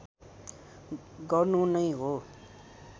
गर्नु नै हो